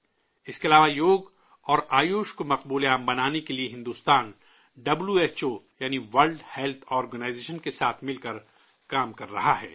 اس کے علاوہ یوگ اور آیوش کو مقبول بنانے کے لیے بھارت ڈبلیو ایچ او یعنی عالمی ادارہ صحت کے ساتھ مل کر کام کر رہا ہے